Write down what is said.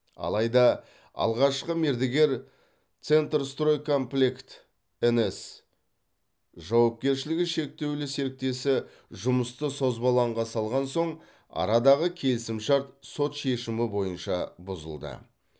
алайда алғашқы мердігер центрстрой комплект нс жауапкершілігі шектеулі серіктесі жұмысты созбалаңға салған соң арадағы келісімшарт сот шешімі бойынша бұзылды